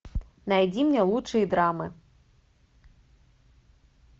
найди мне лучшие драмы